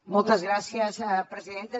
moltes gràcies presidenta